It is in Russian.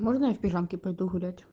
можно я в пижамке пойду гулять